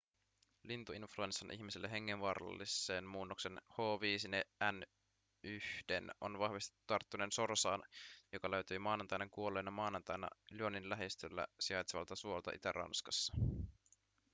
lintuinfluenssan ihmisille hengenvaarallisen muunnoksen h5n1:n on vahvistettu tarttuneen sorsaan joka löytyi maanantaina kuolleena maanantaina lyonin lähistöllä sijaitsevalta suolta itä-ranskassa